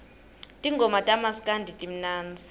tingoma tamaskandi timnandzi